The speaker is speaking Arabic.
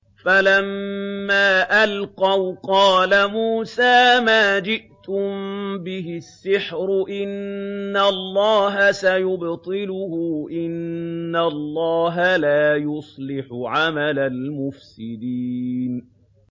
فَلَمَّا أَلْقَوْا قَالَ مُوسَىٰ مَا جِئْتُم بِهِ السِّحْرُ ۖ إِنَّ اللَّهَ سَيُبْطِلُهُ ۖ إِنَّ اللَّهَ لَا يُصْلِحُ عَمَلَ الْمُفْسِدِينَ